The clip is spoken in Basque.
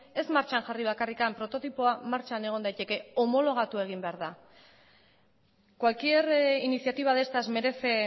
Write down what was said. ez martxan jarri bakarrik prototipoa martxan egon daiteke homologatu egin behar da cualquier iniciativa de estas merece